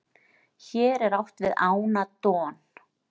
hér er átt við ána don